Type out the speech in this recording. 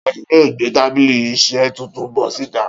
Ta ni yóò gbé tábìlì iṣẹ́ tuntun bọ́ síta?